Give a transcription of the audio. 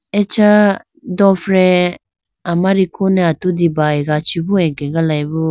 Acha dofre amariku ne atudi bayiga chibo akegalayibo.